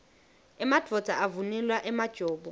emadvodza avunula emajobo